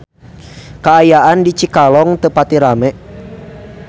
Kaayaan di Cikalong teu pati rame